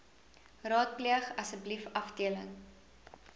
raadpleeg asseblief afdeling